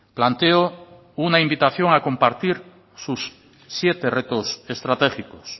planteo una invitación a compartir sus siete retos estratégicos